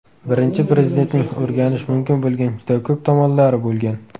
Birinchi Prezidentning o‘rganish mumkin bo‘lgan juda ko‘p tomonlari bo‘lgan.